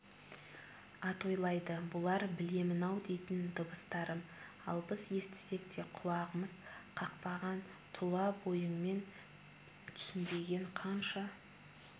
атойлайды бұлар білемін-ау дейтін дыбыстарым ал біз естісек те құлағымыз қақпаған тұла бойыңмен түйсінбеген қанша